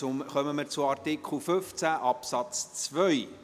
Nun kommen wir zu Artikel 15 Absatz 2.